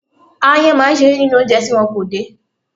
Aáyán máa ń ṣeré nínú oúnjẹ tí wọn kò dè.